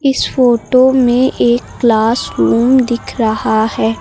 इस फोटो में एक क्लास रूम दिख रहा है।